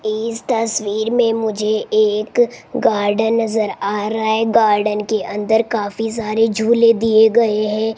इस तस्वीर में मुझे एक गार्डन नजर आ रहा है गार्डन के अंदर काफी सारे झूले दिए गए है।